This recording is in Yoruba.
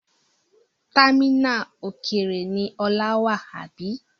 Támínà òkèèrè ni Ola wà, àbí?